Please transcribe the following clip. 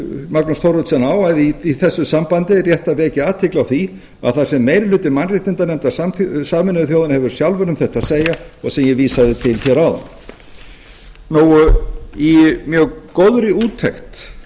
magnús thoroddsen á að í þessu sambandi er rétt að vekja athygli á því að þar sem meiri hluti mannréttindanefndar sameinuðu þjóðanna hefur sjálfur um þetta að segja og sem ég vísaði til hér áðan í mjög góðri úttekt